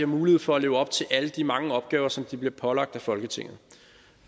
mulighed for at leve op til alle de mange opgaver som de bliver pålagt af folketinget